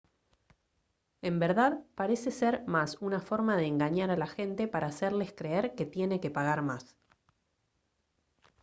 en verdad parece ser más una forma de engañar a la gente para hacerles creer que tiene que pagar más